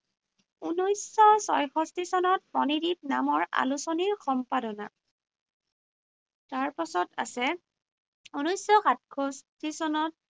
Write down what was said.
ঊনৈশশ ছয়ষষ্ঠী চনত মণিদীপ নামৰ আলোচনীৰ সম্পাদনা। তাৰপাছত আছে ঊনৈশশ সাতষষ্ঠী চনত